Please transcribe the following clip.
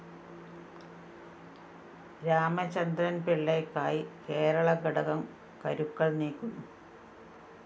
രാമചന്ദ്രന്‍ പിള്ളയ്ക്കായി കേരള ഘടകം കരുക്കള്‍ നീക്കുന്നു